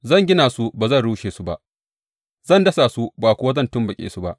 Zan gina su ba zan rushe su ba; zan dasa su ba kuwa zan tumɓuke su ba.